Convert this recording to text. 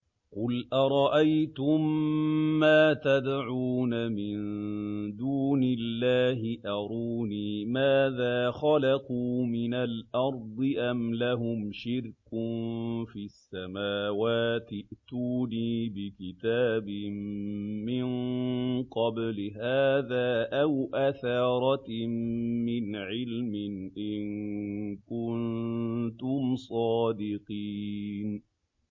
قُلْ أَرَأَيْتُم مَّا تَدْعُونَ مِن دُونِ اللَّهِ أَرُونِي مَاذَا خَلَقُوا مِنَ الْأَرْضِ أَمْ لَهُمْ شِرْكٌ فِي السَّمَاوَاتِ ۖ ائْتُونِي بِكِتَابٍ مِّن قَبْلِ هَٰذَا أَوْ أَثَارَةٍ مِّنْ عِلْمٍ إِن كُنتُمْ صَادِقِينَ